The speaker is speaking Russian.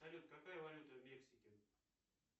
салют какая валюта в мексике